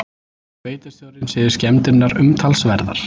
Sveitarstjórinn segir skemmdirnar umtalsverðar